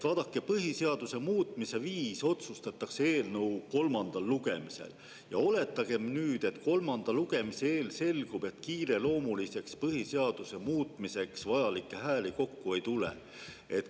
Vaadake, põhiseaduse muutmise viis otsustatakse eelnõu kolmandal lugemisel ja oletagem, et kolmanda lugemise eel selgub, et kiireloomuliseks põhiseaduse muutmiseks vajalikke hääli kokku ei tule.